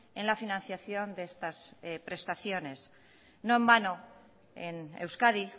en la financiación de estas prestaciones no en vano en euskadi